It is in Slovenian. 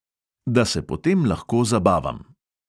Da se potem lahko zabavam!